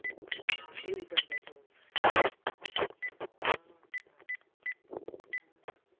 элли календарь